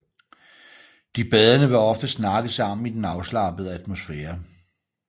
De badende vil ofte snakke sammen i den afslappede atmosfære